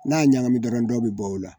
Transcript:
N'a ɲagami dɔrɔn dɔ bɛ bɔ a la